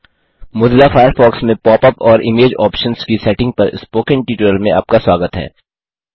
Mozilla Firefox में pop up और image options की सेटिंग पर स्पोकन ट्यूटोरियल में आपका स्वागत है